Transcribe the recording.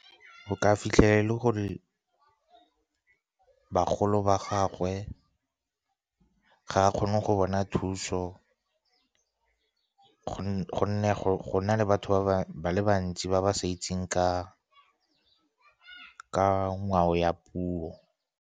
Go ka fitlhela e le gore bagolo ba gagwe, ga a kgone go bona thuso, gonne go na le batho ba le bantsi ba ba sa itseng ka ngwao ya puo.